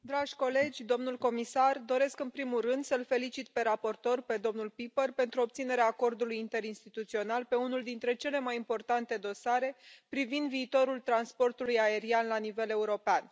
Domnule președinte, dragi colegii, domnule comisar, doresc, în primul rând, să l felicit pe raportor, pe domnul Pieper, pentru obținerea acordului interinstituțional pe unul dintre cele mai importante dosare privind viitorul transportului aerian la nivel european.